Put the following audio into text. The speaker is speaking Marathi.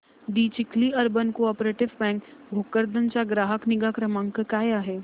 दि Chikhli urban cooperative bank Bhokardan चा ग्राहक निगा क्रमांक काय आहे